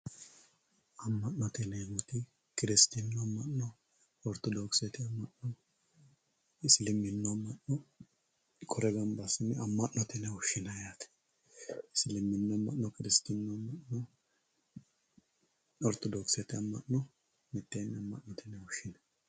amma'note yineemmo woyte kirisitinnu amma'no, oritodokisete amma'no isiliminnu amma'no kore baala gamba assine amma'note yine woshshinay yaate, isiliminnu amma'mo, kirisitinnu amma'no oritodokisete amma'no mitteenni amma'note yine woshhsinanni.